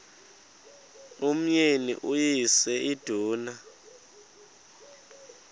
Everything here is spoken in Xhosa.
umyeni uyise iduna